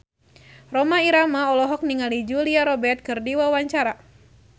Rhoma Irama olohok ningali Julia Robert keur diwawancara